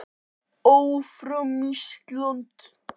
Annað gæti verið fyrir þig en hitt vinnustofa fyrir Nonna.